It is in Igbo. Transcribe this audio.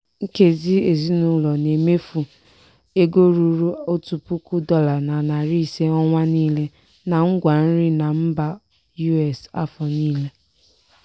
nkezi ezinụlọ na-emefụ ego ruru otu puku dọla na narị ise ọnwa niile na ngwa nri na mba us afọ niile.